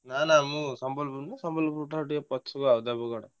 ନାଁ ନାଁ ମୁଁ ସମ୍ବଲପୁର ନୁହଁ ସମ୍ୱଲପୁର ଠାରୁ ଟିକେ ପଛକୁ ଆଉ ଦେବଗଡ଼।